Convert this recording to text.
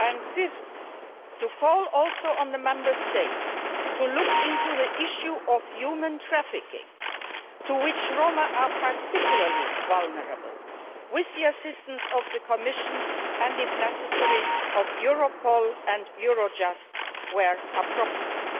Fifthly, we will also call on the Member States to look into the issue of human trafficking, to which Roma are particularly vulnerable, with the assistance of the Commission and, if necessary, with Europol and Eurojust where appropriate.